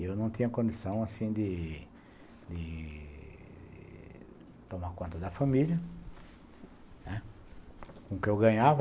E eu não tinha condição assim de de tomar conta da família, né, com o que eu ganhava.